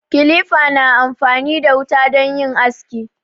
Kilifa na amfani da wuta don yin aski.